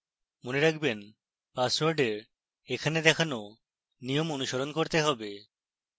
মনে রাখবেনপাসওয়ার্ডের এখানে দেখানো নিয়ম অনুসরণ করতে হবে